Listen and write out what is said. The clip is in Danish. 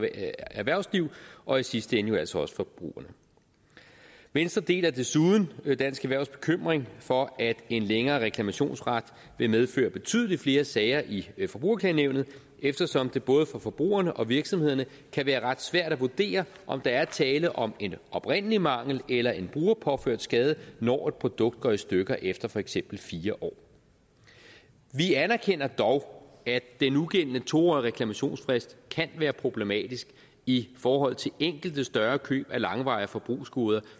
erhvervsliv og i sidste ende jo altså også forbrugerne venstre deler desuden dansk erhvervs bekymring for at en længere reklamationsret vil medføre betydelig flere sager i i forbrugerklagenævnet eftersom det både for forbrugerne og virksomhederne kan være ret svært at vurdere om der er tale om en oprindelig mangel eller en brugerpåført skade når et produkt går i stykker efter for eksempel fire år vi anerkender dog at den nugældende to årige reklamationsfrist kan være problematisk i forhold til enkelte større køb af langvarige forbrugsgoder